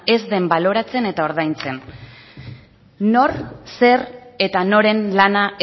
ez den baloratzen eta ordaintzen nor zer eta noren lana